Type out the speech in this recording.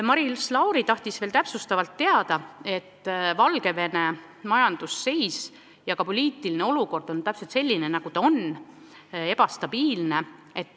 Maris Lauri küsis veel selle kohta, et Valgevene majandusseis ja poliitiline olukord on selline, nagu ta on: ebastabiilne.